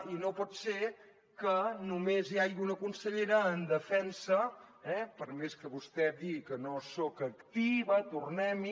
i no pot ser que només hi hagi una consellera en defensa per més que vostè digui que no soc activa tornem hi